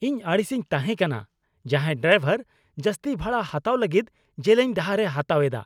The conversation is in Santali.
ᱤᱧ ᱟᱹᱲᱤᱥᱤᱧ ᱛᱟᱦᱮᱸ ᱠᱟᱱᱟ ᱡᱟᱸᱦᱟᱭ ᱰᱨᱟᱭᱵᱷᱟᱨ ᱡᱟᱹᱥᱛᱤ ᱵᱷᱟᱲᱟ ᱦᱟᱛᱟᱣ ᱞᱟᱹᱜᱤᱫ ᱡᱮᱞᱮᱧ ᱰᱟᱦᱟᱨᱮ ᱦᱟᱛᱟᱣᱮᱫᱟ ᱾